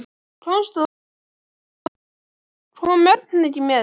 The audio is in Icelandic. Komst þú einn, ég meina, kom Örn ekki með þér?